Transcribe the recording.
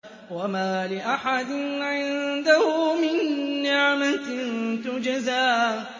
وَمَا لِأَحَدٍ عِندَهُ مِن نِّعْمَةٍ تُجْزَىٰ